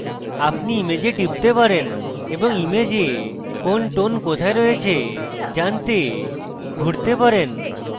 আপনি image টিপতে পারেন এবং image কোন tone কোথায় রয়েছে জানতে ঘুড়তে পারেন